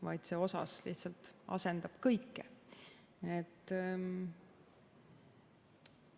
Vaid see "osas", mis lihtsalt asendab kõike.